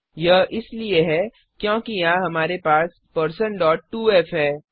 यह इसलिए है क्योंकि यहां हमारे पास 2f है